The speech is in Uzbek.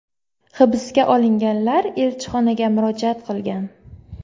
Hibsga olinganlar elchixonaga murojaat qilgan .